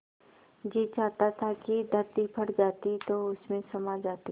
जी चाहता था कि धरती फट जाती तो उसमें समा जाती